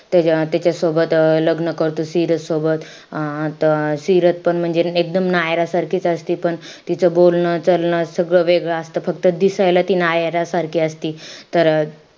त त्याच्यासोबत लग्न करतो सिरत सोबत. अं त सिरत म्हणजे एकदम नायरा सारखीच असती. पण तिचं बोलणं चालणं सगळं वेगळं असतं. फक्त दिसायला ती नायरा सारखी असती. तर,